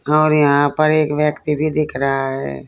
और यहां पर एक व्यक्ति भी दिख रहा है।